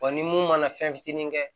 ni mun mana fɛn fitinin kɛ